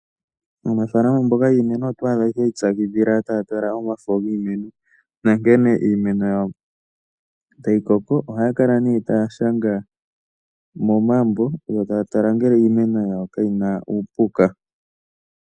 Aanafaalama mboka yiimeno oto adha ya ipyakidhila taya tala omafo giimeno, nankene iimeno yawo tayi koko. Ohaya kala nee taya shanga momambo, yo taya tala ngele iimeno yawo kayina uupuka.